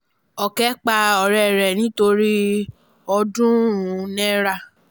òkè pa ọ̀rẹ́ ẹ̀ nítorí ọ̀ọ́dúnrún náírà